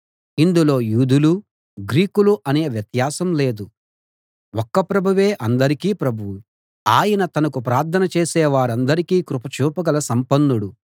ఇందులో యూదులూ గ్రీకులూ అనే వ్యత్యాసం లేదు ఒక్క ప్రభువే అందరికీ ప్రభువు ఆయన తనకు ప్రార్థన చేసే వారందరికీ కృప చూపగల సంపన్నుడు